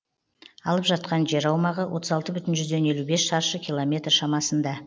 алып жатқан жер аумағы отыз алты бүтін жүзден елу бес шаршы километр шамасында